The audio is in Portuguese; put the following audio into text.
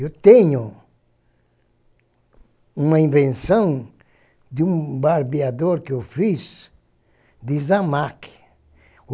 Eu tenho uma invenção de um barbeador que eu fiz de isamaq.